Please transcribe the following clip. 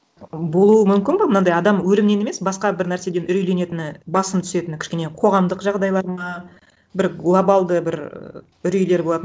болуы мүмкін ба мынандай адам өлімнен емес басқа бір нәрседен үрейленетіні басым түсетіні кішкене қоғамдық жағдайлары ма бір глобалды бір үрейлер болады